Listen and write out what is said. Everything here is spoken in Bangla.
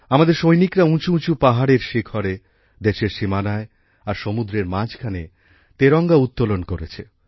আমাদের সৈনিকরা উঁচুউঁচু পাহাড়ের শিখরে দেশের সীমানায় আর সমুদ্রের মাঝখানে তেরঙ্গা উত্তোলন করেছে